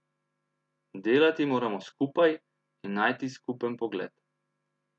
Delati moramo skupaj in najti skupen pogled.